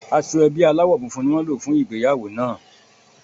Aṣọ ẹbí aláwọ̀ funfun ni wọ́n lò fún ìgbéyàwó náà